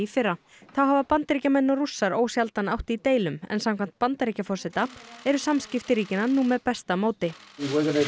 fyrra þá hafa Bandaríkjamenn og Rússar ósjaldan átt í deilum en samkvæmt Bandaríkjaforseta eru samskipti ríkjanna nú með besta móti